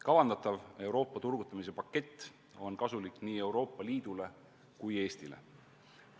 Kavandatav Euroopa turgutamise pakett on kasulik nii Euroopa Liidule kui ka Eestile.